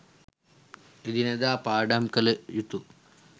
එදිනෙදා පාඩම් කටයුතු